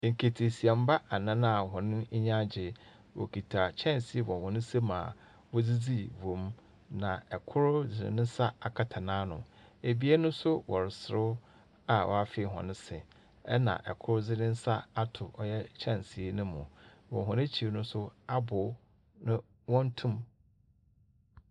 Nketeesiamba anan a hɔn enyi agye. Wokita kyɛnsee wɔ hɔn nsamu a wodzidzii wɔ mu. Na kor dze ne nsa akata n'ano. Ebien nso wɔreserew a wɔafee hɔn se, ɛna kor dze ne nsa ato ɔyɛ kyɛnsee no mu. Wɔ hɔn ekyir no nso, abow no, wɔntoo mu.